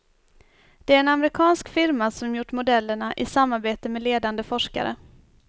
Det är en amerikansk firma som gjort modellerna i samarbete med ledande forskare.